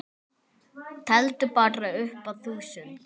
Teldu bara upp að þúsund.